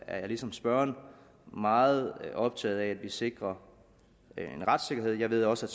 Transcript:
er jeg ligesom spørgeren meget optaget af at vi sikrer en retssikkerhed jeg ved også at